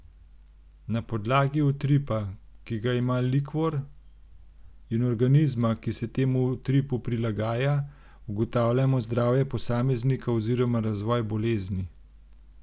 Na podlagi utripa, ki ga ima likvor, in organizma, ki se temu utripu prilagaja, ugotavljamo zdravje posameznika oziroma razvoj bolezni.